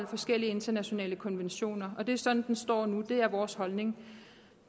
forskellige internationale konventioner det er sådan står nu og det er vores holdning